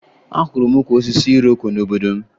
Ahụrụ m ukwu osisi iroko n'obodo m